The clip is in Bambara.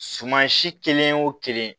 Suman si kelen o kelen